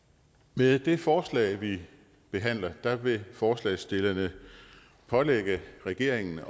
med det forslag vi behandler vil forslagsstillerne pålægge regeringen